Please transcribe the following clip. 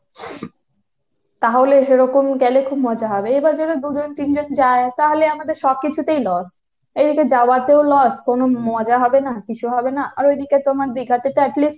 তাহলে সেরকম গেলে খুব মজা হবে। এবার যদি দু'জন তিনজন যায় তাহলে আমাদের সবকিছুতেই loss। এদিকে যাওয়াতেও loss কোন মজা হবে না, কিছু হবে না, আর ওদিকে তোমার দীঘাতে তো at least